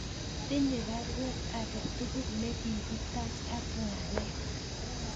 Tinye baruet age tugul negigitach ak ngalek